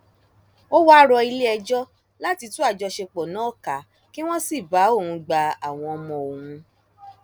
ó wáá rọ iléẹjọ láti tú àjọṣepọ náà ká kí wọn sì bá òun gba àwọn ọmọ òun